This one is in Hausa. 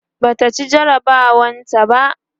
Bata ci jarabawar ta ba